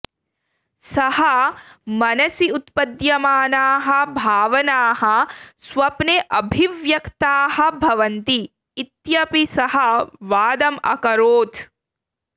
सः मनसि उत्पद्यमानाः भावनाः स्वप्ने अभिव्यक्ताः भवन्ति इत्यपि सः वादम् अकरोत्